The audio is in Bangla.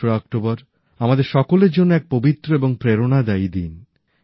দোসরা অক্টোবর আমাদের সকলের জন্য এক পবিত্র এবং প্রেরণাদায়ী দিন